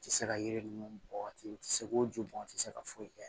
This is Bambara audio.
I tɛ se ka yiri ninnu bɔn ten u tɛ se k'o ju bɔ i tɛ se ka foyi kɛ